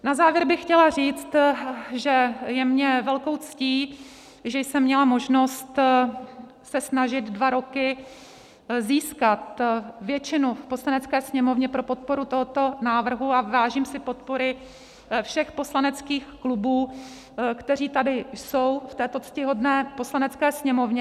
Na závěr bych chtěla říct, že je mi velkou ctí, že jsem měla možnost se snažit dva roky získat většinu v Poslanecké sněmovně pro podporu tohoto návrhu, a vážím si podpory všech poslaneckých klubů, které tady jsou v této ctihodné Poslanecké sněmovně.